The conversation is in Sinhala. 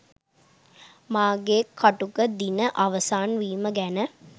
මාගේ කටුක දින අවසන් වීම ගැන